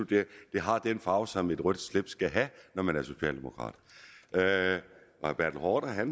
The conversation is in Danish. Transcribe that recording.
det har den farve som et rødt slips skal have når man er socialdemokrat og herre